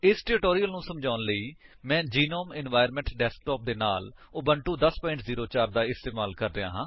ਇਸ ਟਿਊਟੋਰਿਅਲ ਨੂੰ ਸਮਝਾਉਣ ਲਈ ਮੈਂ ਗਨੋਮ ਇਨਵਾਇਰਨਮੈਂਟ ਡੈਸਕਟੌਪ ਦੇ ਨਾਲ ਉਬੁੰਟੂ 1004 ਦਾ ਇਸਤੇਮਾਲ ਕਰ ਰਿਹਾ ਹਾਂ